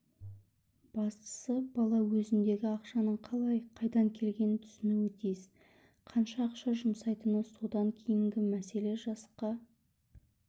бастысы бала өзіндегі ақшаның қалай қайдан келгенін түсінуі тиіс қанша ақша жұмсайтыны содан кейінгі мәселе жасқа